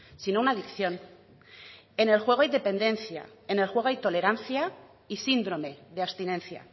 sino una adicción en el juego hay dependencia en el juego hay tolerancia y síndrome de abstinencia